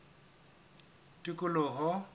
tikoloho